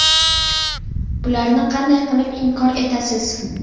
Bularni qanday qilib inkor etasiz?